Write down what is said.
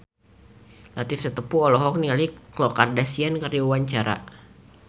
Latief Sitepu olohok ningali Khloe Kardashian keur diwawancara